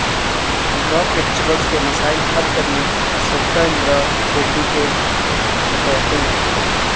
contract lecturers کے مسائل حل کرنے سبیتا اندرا ریڈی کا تیقن